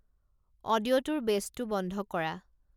অডিঅ'টোৰ বেছটো বন্ধ কৰা